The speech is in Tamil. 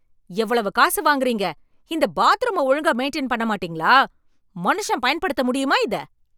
எவ்வளவு காசு வாங்குறீங்க. இந்த பாத்ரூம ஒழுங்கா மெயின்டெயின் பண்ண மாட்டீங்களா? மனுஷன் பயன்படுத்த முடியுமா இத?